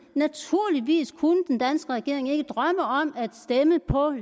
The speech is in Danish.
naturligvis kunne den danske regering ikke drømme om at stemme på